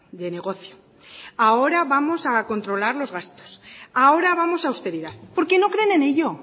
de negocio ahora vamos a controlar los gastos ahora vamos a austeridad porque no creen en ello